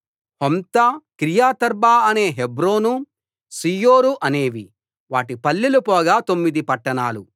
Humtah Kiriath arba అనే Hebron Zior అనేవి వాటి పల్లెలు పోగా తొమ్మిది పట్టణాలు